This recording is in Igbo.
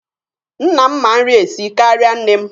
Nna m ma nri esi karịa nne m.